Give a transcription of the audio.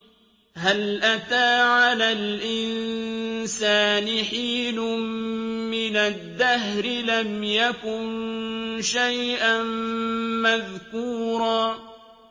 هَلْ أَتَىٰ عَلَى الْإِنسَانِ حِينٌ مِّنَ الدَّهْرِ لَمْ يَكُن شَيْئًا مَّذْكُورًا